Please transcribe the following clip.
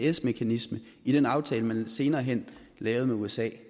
isds mekanisme i den aftale man senere hen lavede med usa